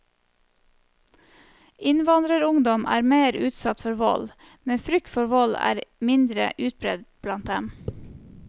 Innvandrerungdom er mer utsatt for vold, men frykt for vold er mindre utbredt blant dem.